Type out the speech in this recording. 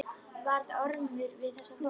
Varð Ormur við þessari bón.